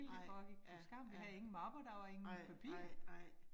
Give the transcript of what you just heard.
Nej, ja ja. Nej nej nej